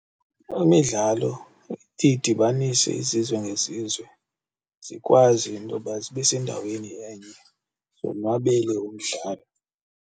Imidlalo idibanise izizwe ngezizwe zikwazi intoba zibe sendaweni enye zonwabele umdlalo.